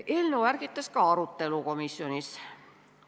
Eelnõu ärgitas komisjonis ka arutelu.